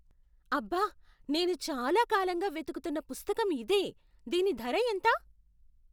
అబ్బ! నేను చాలా కాలంగా వెతుకుతున్న పుస్తకం ఇదే. దీని ధర ఎంత?